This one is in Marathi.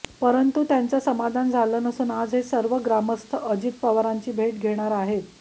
परंतु त्यांचं समाधान झालं नसून आज हे सर्व ग्रामस्थ अजित पवारांची भेट घेणार आहेत